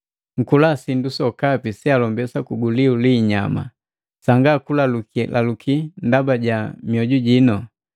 Nkula sindu sokapi sealombesa kuguliu li inyama, sanga kulalukilaluki ndaba ja mioju jino.